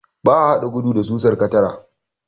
Ba a haɗa gudu da susar katara.